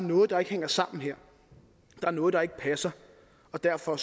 noget der ikke hænger sammen her der er noget der ikke passer og derfor